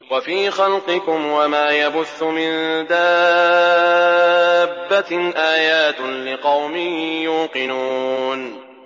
وَفِي خَلْقِكُمْ وَمَا يَبُثُّ مِن دَابَّةٍ آيَاتٌ لِّقَوْمٍ يُوقِنُونَ